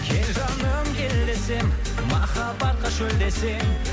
кел жаным кел десем махаббатқа шөлдесең